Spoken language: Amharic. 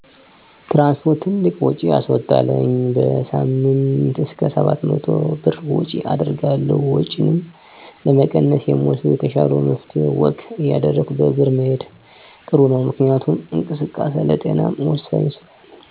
ትራንስፖርት ትልቅ ውጭ ያስዎጣል። በሳምንይ እስከ 700 ብር ወጭ አደርጋለሁ። ወጭንም ለመቀነስ የምወስደው የተሻለው መፍትሄ ወክ እያደረጉ በእግር መሄድ ጥሩ ነው። ምክንያቱም እንቅስቃሴ ለጤናም ወሳኝ ስለሆነ።